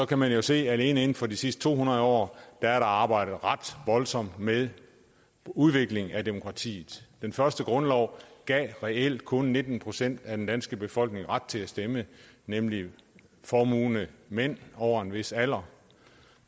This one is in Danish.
kan man se at alene inden for de sidste to hundrede år er der arbejdet ret voldsomt med udvikling af demokratiet den første grundlov gav reelt kun nitten procent af den danske befolkning ret til at stemme nemlig formuende mænd over en vis alder